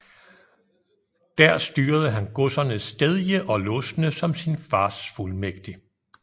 Der styrede han godserne Stedje og Losne som sin fars fuldmægtig